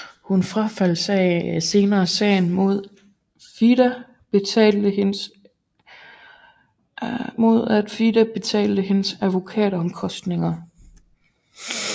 Hun frafaldt senere sagen mod at FIDE betalte hendes advokatomkostninger